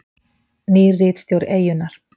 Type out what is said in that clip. Nýr ritstjóri Eyjunnar